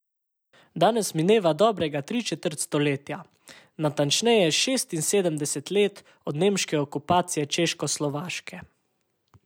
Danes mineva dobrega tri četrt stoletja, natančneje šestinsedemdeset let, od nemške okupacije Češkoslovaške.